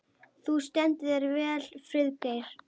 Þú stendur þig vel, Friðgeir!